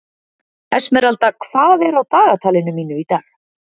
Esmeralda, hvað er á dagatalinu mínu í dag?